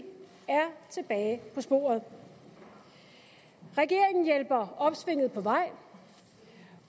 tilbage på sporet regeringen hjælper opsvinget på vej